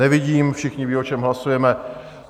Nevidím - všichni vědí, o čem hlasujeme.